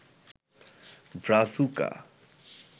Brazuca